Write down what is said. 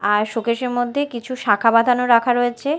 আর শোকেসের -এর মধ্যে কিছু শাঁখা বাঁধানো রাখা রয়েছে।